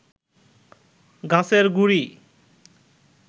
গাছের গুঁড়ি